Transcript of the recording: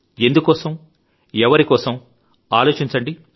ఎందుకోసం ఎవరికోసం ఆలోచించండి